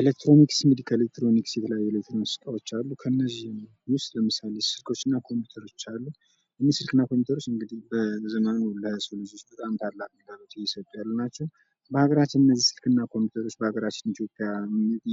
ኤሌክትሮኒክስ እንግዲህ ከኤሌክትሮኒክስ ዕቃዎች የተለያዩ እቃዎች አሉ ከነዚህም ውስጥ ስልኮችና ኮምፒዩተሮች አሉ እነዚህ ስልኮችና ኮምፒዩተሮች በዘመኑ ለሰው ልጆች ታላቅ ግልጋሎት እየሰጡ ያሉ ናቸው በሀገራችን እነዚህ ስልኮችና ኮምፒዩተሮች በሀገራችን